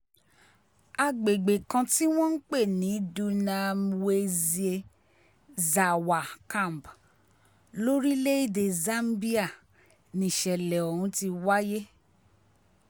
àgbègbè kan tí wọ́n ń pè ní dunamwezi zàwà camp lórílẹ̀‐èdè zambia nìṣẹ̀lẹ̀ ọ̀hún ti wáyé